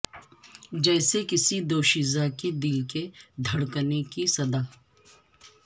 جیسے کسی دوشیزہ کے دل کے دھڑکنے کی صدا